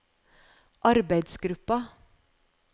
arbeidsgruppa